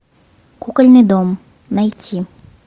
кукольный дом найти